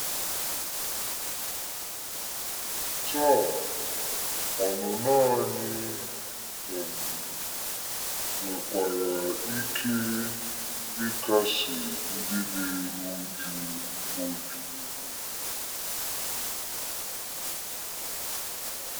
Taa, ọnụnọ anyị um nwekwara ike ịkasi ndị na-eru uju obi.